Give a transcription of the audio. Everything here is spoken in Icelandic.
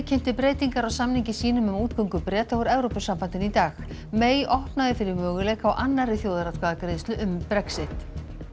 kynnti breytingar á samningi sínum um útgöngu Breta úr Evrópusambandinu í dag opnaði fyrir möguleika á annarri þjóðaratkvæðagreiðslu um Brexit